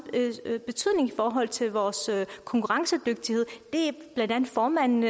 betydning i forhold til vores konkurrencedygtighed blandt andet formanden